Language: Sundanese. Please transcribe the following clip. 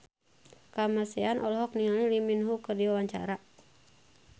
Kamasean olohok ningali Lee Min Ho keur diwawancara